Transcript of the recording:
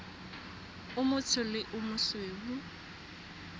o motsho le o mosweu